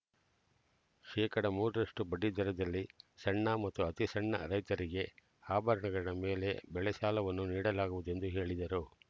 ಶೇಕಡಾ ಮೂರರಷ್ಟು ಬಡ್ಡಿದರದಲ್ಲಿ ಸಣ್ಣ ಮತ್ತು ಅತಿಸಣ್ಣ ರೈತರಿಗೆ ಆಭರಣಗಳ ಮೇಲೆ ಬೆಳೆಸಾಲವನ್ನು ನೀಡಲಾಗುವುದೆಂದು ಹೇಳಿದರು